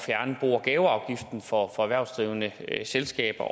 gaveafgiften for erhvervsdrivende selskaber